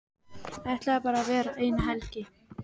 Ætlaði bara að vera eina helgi.